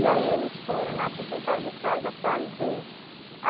E aí eles foram lá para o quintal de casa fazer.